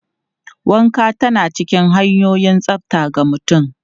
Wanka tana cikin hanyoyin tsafta ga mutum.